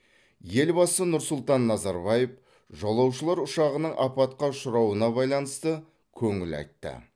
елбасы нұрсұлтан назарбаев жолаушылар ұшағының апатқа ұшырауына байланысты көңіл айтты